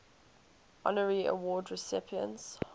honorary award recipients